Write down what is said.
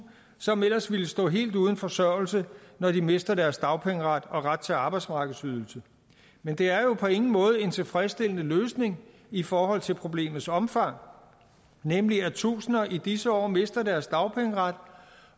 som ellers ville stå helt uden forsørgelse når de mister deres dagpengeret og ret til arbejdsmarkedsydelse men det er jo på ingen måde en tilfredsstillende løsning i forhold til problemets omfang nemlig at tusinde i disse år mister deres dagpengeret